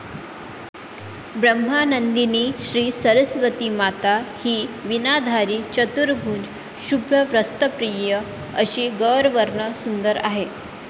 ब्रह्मानंदिनी श्री सरस्वती माता हि विनाधारी चतुर्भुज शुभ्रवस्त्रप्रिय अशी गौरवर्ण सुंदर आहे